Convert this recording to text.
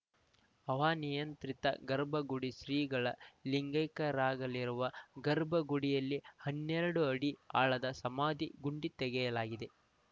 ಹವಾನಿಯಂತ್ರಿತ ಗರ್ಭಗುಡಿ ಶ್ರೀಗಳು ಲಿಂಗೈಕ್ಯರಾಗಲಿರುವ ಗರ್ಭಗುಡಿಯಲ್ಲಿ ಹನ್ನೆರಡು ಅಡಿ ಆಳದ ಸಮಾಧಿ ಗುಂಡಿ ತೆಗೆಯಲಾಗಿದೆ